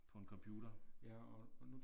På en computer